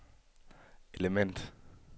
element